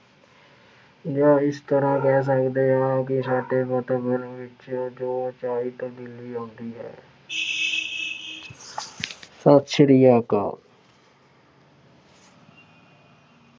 ਜਾਂ ਇਸ ਤਰ੍ਹਾਂ ਕਹਿ ਸਕਦੇ ਹਾਂ ਕਿ ਸਾਡੇ ਵਾਤਾਵਰਣ ਵਿੱਚ ਜੋ ਅਣਚਾਹੀ ਤਬਦੀਲੀ ਆਉਂਦੀ ਹੈ। ਸਤਿ ਸ੍ਰੀ ਅਕਾਲ।